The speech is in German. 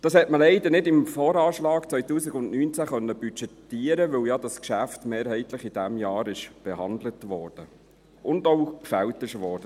Dies hat man leider im Voranschlag 2019 nicht budgetieren können, weil das Geschäft ja mehrheitlich in diesem Jahr behandelt wurde und der Beschluss gefällt wurde.